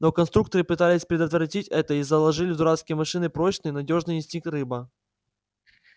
но конструкторы пытались предотвратить это и заложили в дурацкие машины прочный надёжный инстинкт рыба